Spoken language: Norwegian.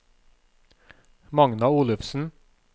Magna Olufsen